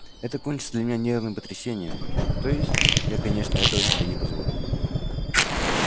это кончится для меня нервным потрясением то есть я конечно этого себе не позволю